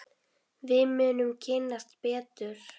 Við munum kynnast betur.